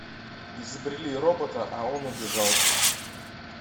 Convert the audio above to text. изобрели робота а он убежал